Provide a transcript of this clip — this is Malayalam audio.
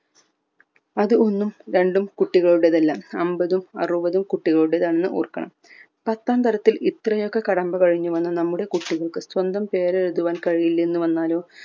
അത് ഒന്നും രണ്ടും കുട്ടികളുടെതല്ല അമ്പതും ആറുവതും കുട്ടികളുടെതാണെന്ന് ഓർക്കണം പത്താം തരംത്തിൽ ഇത്രെയൊക്കെ കടമ്പ കഴിഞ്ഞു നമ്മുടെ കുട്ടികൾക് സ്വന്തം പേര് എഴുതുവാൻ കഴിയില്ലെന്ന് വന്നാലോ